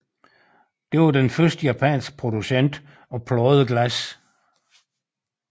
Det var den første japanske producent af pladeglas